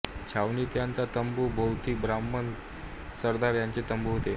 छावणित याच्या तंबू भोवती ब्राम्हण सरदार यांचे तंबू होते